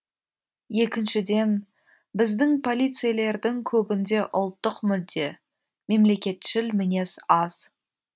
екіншіден біздің полицейлердің көбінде ұлттық мүдде мемлекетшіл мінез аз